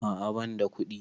A'a banda kuɗi